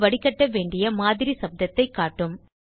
இது வடிகட்டவேண்டிய மாதிரி சப்தத்தை காட்டும்